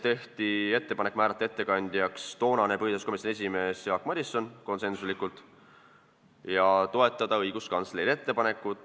Tehti ettepanek määrata ettekandjaks toonane põhiseaduskomisjoni esimees Jaak Madison ja toetada õiguskantsleri ettepanekut .